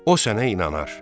O sənə inanar.